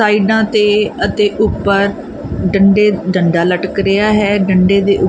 ਸਾਈਡਾਂ ਤੇ ਅਤੇ ਉੱਪਰ ਡੰਡੇ ਡੰਡਾ ਲਟਕ ਰਿਹਾ ਹੈ ਡੰਡੇ ਦੇ--